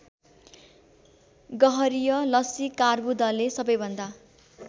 गह्वरीय लसीकार्बुदले सबैभन्दा